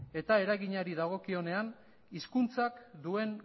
eta eraginari dagokionean hizkuntzak duen